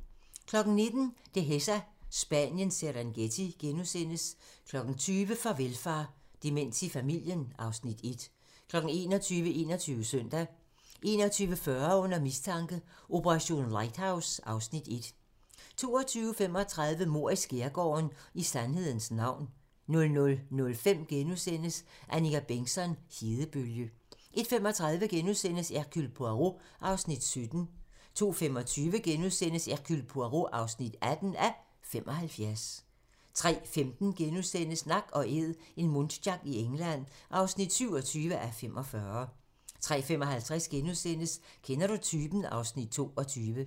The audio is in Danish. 19:00: Dehesa - Spaniens Serengeti * 20:00: Farvel far: Demens i familien (Afs. 1) 21:00: 21 Søndag 21:40: Under mistanke: Operation Lighthouse (Afs. 1) 22:35: Mord i skærgården: I sandhedens navn 00:05: Annika Bengtzon: Hedebølge * 01:35: Hercule Poirot (17:75)* 02:25: Hercule Poirot (18:75)* 03:15: Nak & Æd - en muntjac i England (27:45)* 03:55: Kender du typen? (Afs. 22)*